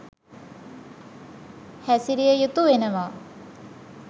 හැසිරිය යුතු වෙනවා